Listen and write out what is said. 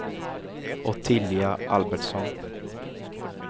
Ottilia Albertsson